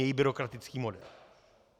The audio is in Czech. Její byrokratický model.